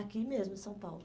Aqui mesmo, em São Paulo.